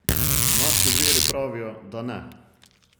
Naši viri pravijo, da ne.